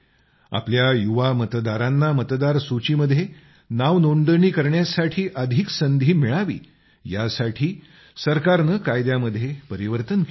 आपल्या युवा मतदारांना मतदार सूचीमध्ये नाव नोंदणी करण्यासाठी अधिक संधी मिळावी यासाठी सरकारने कायद्यामध्ये परिवर्तन केलं आहे